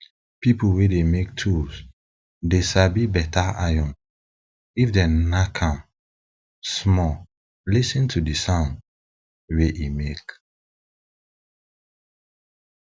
pipul wey dey make tools dey sabi beta dey sabi beta iron if dem nack am small lis ten to d sound wey e make